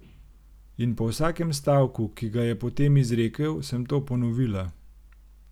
In po vsakem stavku, ki ga je potem izrekel, sem to ponovila.